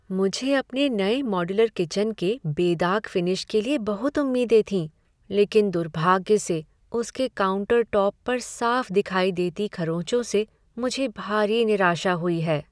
मुझे अपने नए मॉड्यूलर किचन के बेदाग फिनिश के लिए बहुत उम्मीदें थीं, लेकिन दुर्भाग्य से उसके काउंटरटॉप पर साफ दिखाई देती खरोचों से मुझे भारी निराशा हुई है।